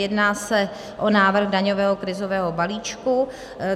Jedná se o návrh daňového krizového balíčku.